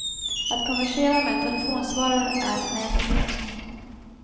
Att konversera med en telefonsvarare är en ädel konst.